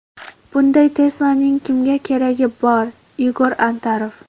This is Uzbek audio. Bunday Tesla’ning kimga keragi bor?”, Igor Antarov.